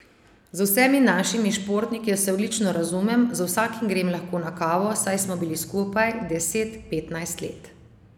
Z vsemi našimi športniki se odlično razumem, z vsakim grem lahko na kavo, saj smo bili skupaj deset, petnajst let.